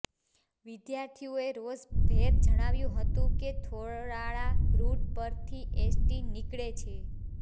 વિદ્યાર્થીઓએ રોષ ભેર જણાવ્યું હતું કે થોરાળા રૃટ પરથી એસટી નિકળે છે